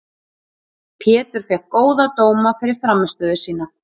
Pétur fékk góða dóma fyrir frammistöðu sína.